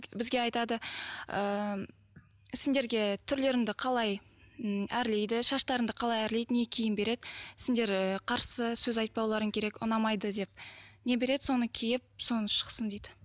бізге айтады ыыы сендерге түрлеріңді қалай ы әрлейді шаштарыңды қалай әрлейді не киім береді сендер ііі қарсы сөз айтпауларың керек ұнамайды деп не береді соны киіп соны шықсын дейді